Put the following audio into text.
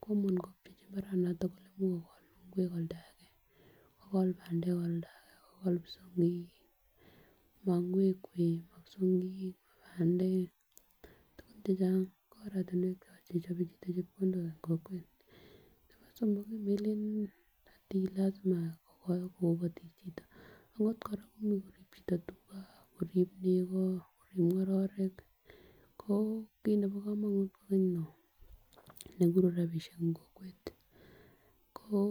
kole komuch kobchechi imbaranoton kole imuch kogol ingwek en oldage kogol pandek en oldage kogol kipsongik mo ingwek wee mo psongik mo pandek tukuk chechang ko oratunwek chon chechobe chito chepkondok en kokwet. Nebo somok kii melelen ati lasima kokoi kobotik chito akot koraa komuch korib chito tugaa, korib nekoo korib ngororik ko kit nebo komonut kokeny non kekuru rabishek en kokwet ko.